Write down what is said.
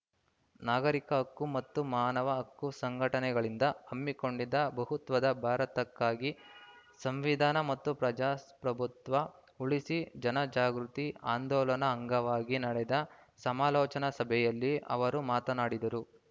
ನಾಗರಿಕ ಹಕ್ಕು ಮತ್ತು ಮಾನವ ಹಕ್ಕು ಸಂಘಟನೆಗಳಿಂದ ಹಮ್ಮಿಕೊಂಡಿದ್ದ ಬಹುತ್ವದ ಭಾರತಕ್ಕಾಗಿ ಸಂವಿಧಾನ ಮತ್ತು ಪ್ರಜಾಪ್ರಭುತ್ವ ಉಳಿಸಿ ಜನ ಜಾಗೃತಿ ಆಂದೋಲನ ಅಂಗವಾಗಿ ನಡೆದ ಸಮಾಲೋಚನಾ ಸಭೆಯಲ್ಲಿ ಅವರು ಮಾತನಾಡಿದರು